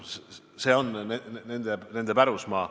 See on nende pärusmaa.